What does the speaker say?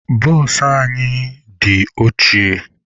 Bụsụ anyị dị ochie.